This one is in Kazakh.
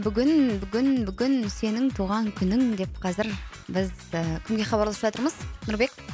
бүгін бүгін бүгін сенің туған күнің деп қазір біз і кімге хабарласып жатырмыз нұрбек